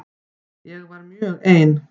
Ég var mjög ein.